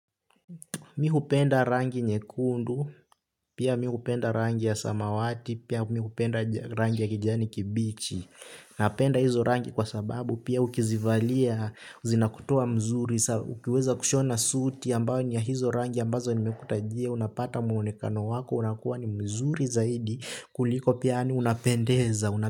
Mi hupenda rangi nyekundu, pia mi hupenda rangi ya samawati, pia mi hupenda rangi ya kijani kibichi. Napenda hizo rangi kwa sababu, pia ukizivalia, zinakutoa mzuri, ukiweza kushona suti ambayo ni ya hizo rangi ambazo ni mekutajia, unapata muonekano wako, unakuwa ni mzuri zaidi, kuliko pia yaani unapendeza.